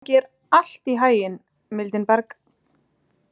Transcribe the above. Gangi þér allt í haginn, Mildinberg.